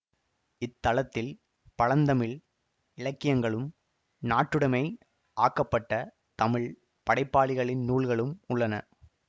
இத்தளத்தில் பழந்தமிழ் இலக்கியங்களும் நாட்டுடைமை ஆக்கப்பட்ட தமிழ் படைப்பாளிகளின் நூல்களும் உள்ளன